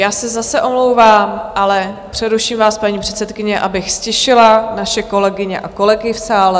Já se zase omlouvám, ale přeruším vás, paní předsedkyně, abych ztišila naše kolegyně a kolegy v sále.